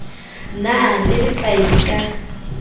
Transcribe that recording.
na le leqai le ka